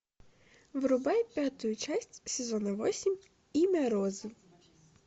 врубай пятую часть сезона восемь имя розы